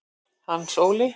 Hans Óli